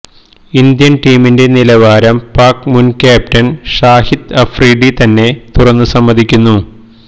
Indian ടീമിന്റെ നിലവാരം പാക് മുൻ ക്യാപ്റ്റൻ ഷാഹിദ് അഫ്രീദി തന്നെ തുറന്നു സമ്മതിക്കുന്നു